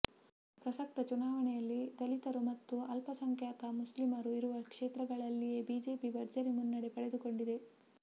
ಪ್ರಸಕ್ತ ಚುನಾವಣೆಯಲ್ಲಿ ದಲಿತರು ಮತ್ತು ಅಲ್ಪಸಂಖ್ಯಾತ ಮುಸ್ಲಿಮರು ಇರುವ ಕ್ಷೇತ್ರಗಳಲ್ಲಿಯೇ ಬಿಜೆಪಿ ಭರ್ಜರಿ ಮುನ್ನಡೆ ಪಡೆದುಕೊಂಡಿದೆ